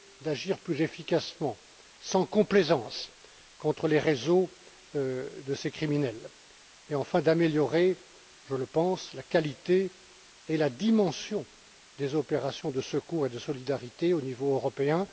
d'agir plus efficacement, sans complaisance, contre les réseaux de ces criminels et, enfin, d'améliorer je le pense la qualité et la dimension des opérations de secours et de solidarité au niveau européen.